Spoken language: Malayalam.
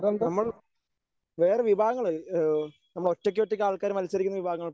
നമ്മൾ വേറെ വിഭാഗങ്ങൾ ഏഹ് നമ്മൾ ഒറ്റയ്ക്കൊറ്റയ്ക്ക് ആൾക്കാർ മത്സരിക്കുന്ന വിഭാഗങ്ങൾ